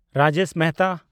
Rajesh Mehta